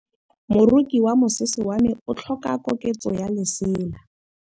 Moroki wa mosese wa me o tlhoka koketsô ya lesela.